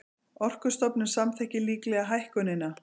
Orkustofnun samþykkir líklega hækkunina